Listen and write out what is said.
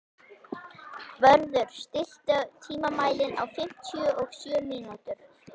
Vörður, stilltu tímamælinn á fimmtíu og sjö mínútur.